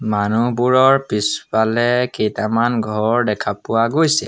মানুহবোৰৰ পিছফালে কেইটামান ঘৰ দেখা পোৱা গৈছে।